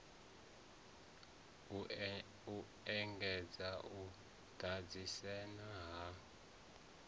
u engedza u ḓidzhenisa ha